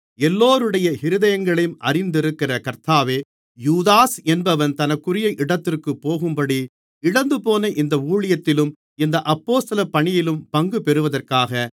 எல்லோருடைய இருதயங்களையும் அறிந்திருக்கிற கர்த்தாவே யூதாஸ் என்பவன் தனக்குரிய இடத்திற்குப் போகும்படி இழந்துபோன இந்த ஊழியத்திலும் இந்த அப்போஸ்தலப் பணியிலும் பங்குபெறுவதற்காக